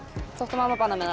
þótt að mamma banni mér